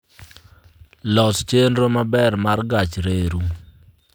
los chenro maber mar gach reru